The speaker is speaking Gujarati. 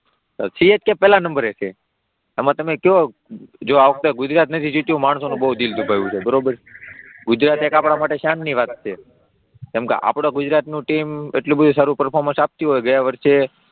CSK પહેલા નંબરે છે, આમાં તમે કહો જો આ વખતે ગુજરાત નથી જીત્યું માણસોનો બહુ દિલ દુભાયુ છે બરાબર, ગુજરાત એ એક આપણાં માટે શાનની વાત છે કેમકે આપણાં ગુજરાતનું ટીમ એટલું બધું સારું પર્ફોર્મન્સ આપતી હોય ગયા વર્ષે,